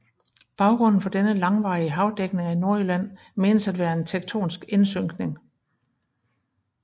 Baggrunden for denne langvarige havdækning af Nordjylland menes at være en tektonisk indsynkning